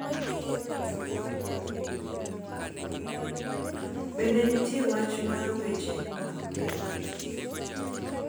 Bende nitie wach mar weche mag piny.